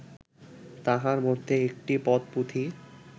তাহার মধ্যে একটি পদ পুঁথি